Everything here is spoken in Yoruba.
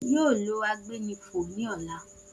O yoo lo agbénifò ni ọla